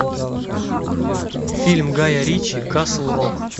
фильм гая ричи касл рок